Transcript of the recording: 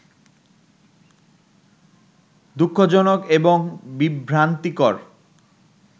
দু:খজনক এবং বিভ্রান্তিকর